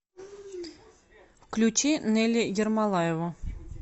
включи нелли ермолаеву